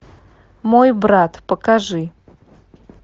мой брат покажи